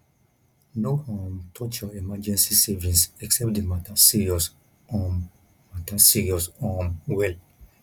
no um touch your emergency savings except the matter serious um matter serious um well